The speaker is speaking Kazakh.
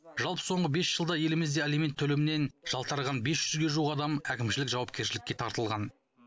жалпы соңғы бес жылда елімізде алимент төлемінен жалтарған бес жүзге жуық адам әкімшілік жауапкершілікке тартылған